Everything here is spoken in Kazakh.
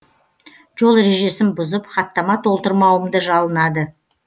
жол ережесін бұзып хаттама толтырмауымды жалынады